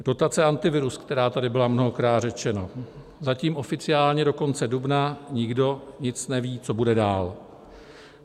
Dotace Antivirus, která tady byla mnohokrát řečena, zatím oficiálně do konce dubna, nikdo nic neví, co bude dál.